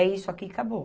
É isso aqui e acabou.